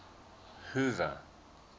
hoover